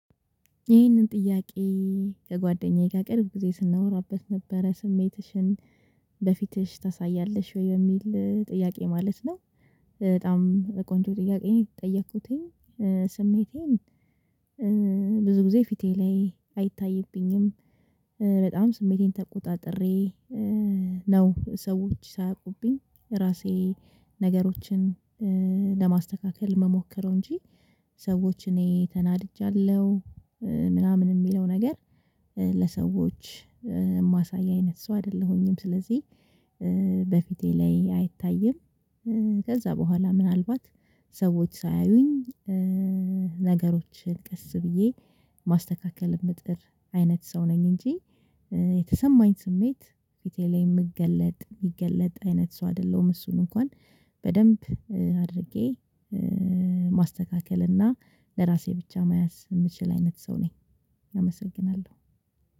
ይህንን ጥያቄ ከጓደኛዬ ጋር ቅርብ ጊዜ ስናወራበት ነበረ ስሜትሽን በፊትሽ ታሳያለሽ ወይ የሚል ጥያቄ ማለት ነው? በጣም ቆንጆ ጥያቄ ነው የተጠየኩትኝ። ስሜቴን ብዙ ጊዜ ፊቴ ላይ አይታይብኝም። በጣም ስሜቴን ተቆጣጥሬ ነው ሰዎች ሳያውቁብኝ ራሴ ነገሮችን ለማስተካከል ምሞከረው እንጂ ሰዎች እኔ ተናድጃለሁ። ምናምን የሚለው ነገር ለሰዎች የማሳይ አይነት ሰው አይደለሁኝም። ስለዚህ በፊቴ ላይ አይታይም። ከዛ በኋላ ምናልባት ሰዎች ሳያዩኝ ነገሮችን ቀስ ብዬ ማስተካከል ምጥር አይነት ሰው ነኝ። እንጂ የተሰማኝ ስሜት ፊቴ ላይ የምገለጥ የሚገለጥ አይነት ሰው አይደለሁም። እሱን እንኳን በደንብ አድርጌ ማስተካከል እና ለራሴ ብቻ መያዝ የምችል አይነት ሰው ነኝ። አመሰግናለሁ